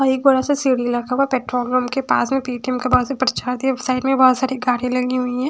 और एक बड़ा सा सीढ़ी लखा हुआ है पेट्रोल पम्प के पास में पी_टी_एम के पास साइड में बहुत सारी गाड़ियाँ लगी हुई हैं।